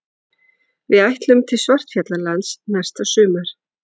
Við ætlum til Svartfjallalands næsta sumar.